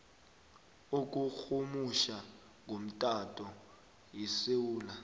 yokurhumutjha ngomtato yesewula